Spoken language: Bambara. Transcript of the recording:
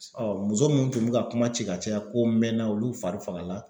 muso minnu tun bɛ ka kuma ci ka caya ko n mɛnna olu fari fagala.